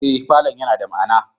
Ee, falon yana da ma'ana